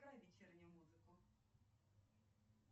вечернюю музыку